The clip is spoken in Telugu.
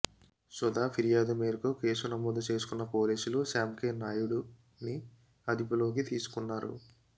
సుధ ఫిర్యాదు మేరకు కేసు నమోదు చేసుకున్న పోలీసులు శ్యామ్కేనాయుడుని అదుపులోకి తీసుకున్నారు